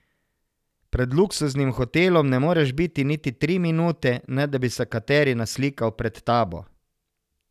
Pred luksuznim hotelom ne moreš biti niti tri minute, ne da bi se kateri naslikal pred tabo.